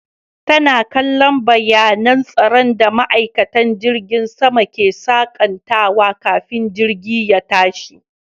Tana kallon bayanan tsaro da maikatan jirgin sama ke sakantawa kafin jirgi ye tashi